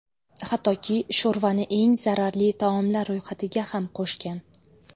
Hattoki, sho‘rvani eng zararli taomlar ro‘yxatiga ham qo‘shgan.